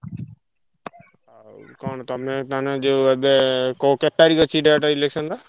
ଆଉ କଣ ତମେ ତାହେଲେ ଯୋଉ ଏବେ କୋଉ କେତେ ତାରିଖ୍ ଅଛି date election ର?